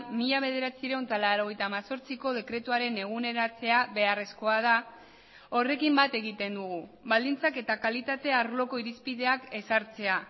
mila bederatziehun eta laurogeita hemezortziko dekretuaren eguneratzea beharrezkoa da horrekin bat egiten dugu baldintzak eta kalitate arloko irizpideak ezartzea